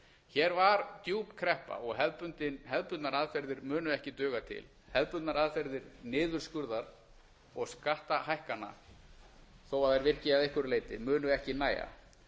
hér var djúp kreppa og hefðbundnar aðferðir munu ekki duga til hefðbundnar aðferðir niðurskurðar og skattahækkana þó þær virki að einhverju leyti munu ekki nægja